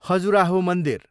खजुराह मन्दिर